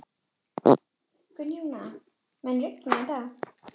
Gunnjóna, mun rigna í dag?